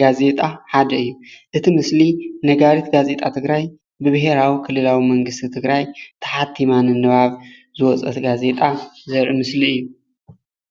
ጋዜጣ ሓደ እዩ፡፡ እቲ ምስሊ ነጋሪት ጋዜጣ ትግራይ ብቤሄራዊ ክልላዊ መንግስቲ ትግራይ ተሓቲሙ ንምንባብ ዝወፀት ጋዜጣ ዘርኢ ምስሊ እዩ፡፡